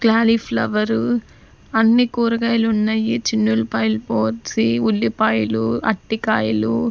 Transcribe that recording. Cauliflower అన్ని కూరగాయలు ఉన్నాయి ఈ చిన్న ఉల్లిపాయలు పోసి ఉల్లిపాయలు అటికాయలు .